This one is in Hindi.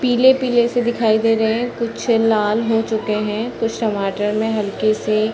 पीले-पीले से दिखाई दे रहे हैं कुछ लाल हो चुके हैं कुछ टमाटर में हल्की से --